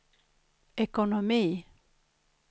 ekonomi